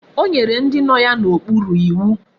O nyere ndi no ya na okporo iwu